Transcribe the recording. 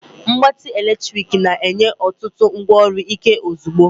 Mgbatị eletrik na-enye otutu ngwaọrụ Ike ozugbo.